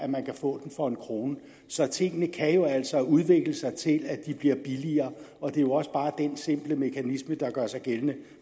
man få den for en kroner så tingene kan jo altså udvikle sig til at blive billigere og det er jo også bare den simple mekanisme der gør sig gældende